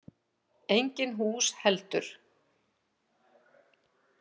Engin hús heldur.